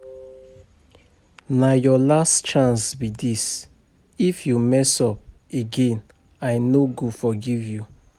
Na your last chance be dis if you mess up again I no go forgive you